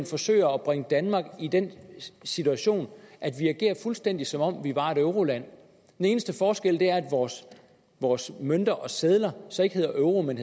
forsøger at bringe danmark i den situation at vi agerer fuldstændig som om vi var et euroland den eneste forskel er at vores vores mønter og sedler ikke hedder euro men